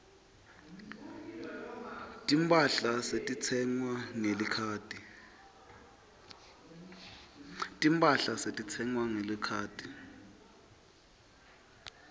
timphahla setitsengwa ngelikhadi